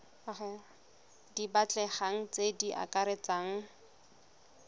di batlegang tse di akaretsang